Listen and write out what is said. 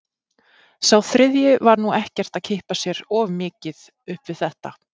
Sá þriðji var nú ekkert að kippa sér of mikið upp við þetta.